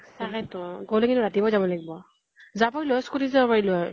তাকে তো । গʼলে কিন্তু ৰাতিপুৱা য়ে যাব লাগিব । যাব স্কূতি যাব পাৰিলো হয়